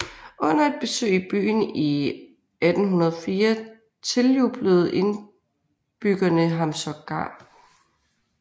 Under et besøg i byen i 1804 tiljublede indbyggerne ham sågar